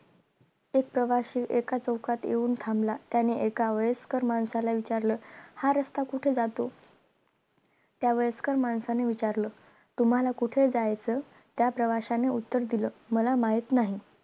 एक प्रवाशी एका चौकात येऊन अंबला त्याने एका वयस्कर माणसाला विचारलं हा रस्ता कुठे जातो त्या वयस्कर माणसाला विचारलं तुम्हाला कुठं जायायचं त्या प्रवाशाने उत्तर दिल माहित नाही